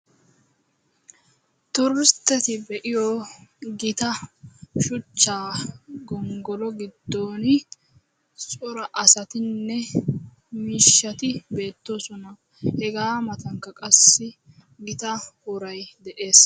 Turustteti be7iyo gita shuchchaa gonggolo giddooni cora asatinne miishshati beettoosona. Hegaa matankka qassi gita worayi de7es.